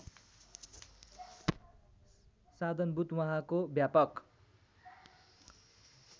साधनभूत वहाँको व्यापक